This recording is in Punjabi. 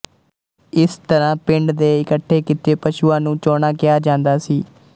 ਇਸ ਤਰਾਂ ਪਿੰਡ ਦੇ ਇਕੱਠੇ ਕੀਤੇ ਪਸ਼ੂਆਂ ਨੂੰ ਚੌਣਾ ਕਿਹਾ ਜਾਂਦਾ ਸੀ